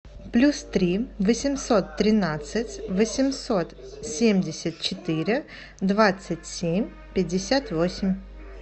плюс три восемьсот тринадцать восемьсот семьдесят четыре двадцать семь пятьдесят восемь